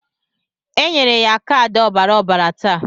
E nyere ya kaadị ọbara ọbara taa.